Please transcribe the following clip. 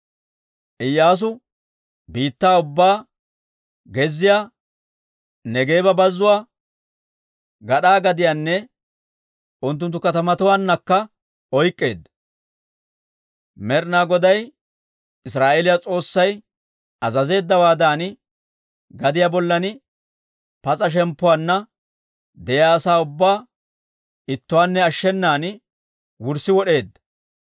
Iyyaasu biittaa ubbaa, gezziyaa, Neegeeba Bazzuwaa, gad'aa gadiyaanne unttunttu kaatetuwaannakka oyk'k'eedda. Med'ina Goday Israa'eeliyaa S'oossay azazeeddawaadan, gadiyaa bollan pas'a shemppuwaanna de'iyaa asaa ubbaa ittuwaanne ashshenan wurssi wod'eedda.